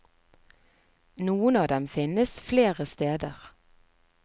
Noen av dem finnes flere steder.